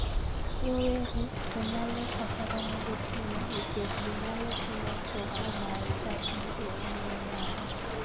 Rowere to nyalo kata romo gotieno nikech ginyalo timo choko mar chadi e ong'we yamo.